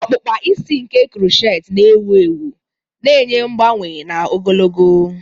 okpụkpa isi ike crochet na ewu ewu, na-enye mgbanwe na ogologo.